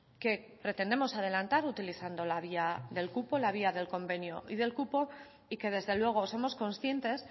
que pretendemos adelantar utilizando la vía del cupo la vía del convenio y del cupo y que desde luego somos conscientes